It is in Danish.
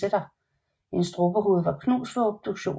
Hendes strubehoved var knust ved obduktionen